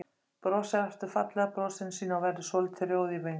Brosir aftur fallega brosinu sínu og verður svolítið rjóð í vöngum.